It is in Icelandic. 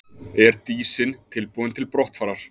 Er Dísin tilbúin til brottfarar?